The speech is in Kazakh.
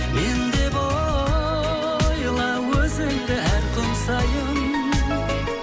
мен деп ойла өзіңді әр күн сайын